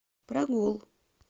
прогул